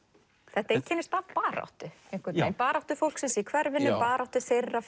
þetta einkennist af baráttu einhvern veginn baráttu fólksins í hverfinu baráttu þeirra